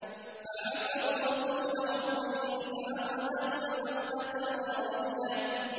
فَعَصَوْا رَسُولَ رَبِّهِمْ فَأَخَذَهُمْ أَخْذَةً رَّابِيَةً